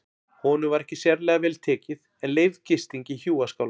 Honum var ekki sérlega vel tekið en leyfð gisting í hjúaskála.